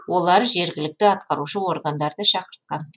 олар жергілікті атқарушы органдарды шақыртқан